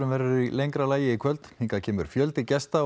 verður í lengra lagi í kvöld hingað kemur fjöldi gesta